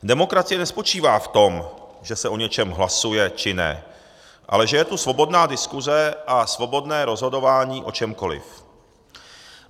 Demokracie nespočívá v tom, že se o něčem hlasuje, či ne, ale že je to svobodná diskuze a svobodné rozhodování o čemkoliv.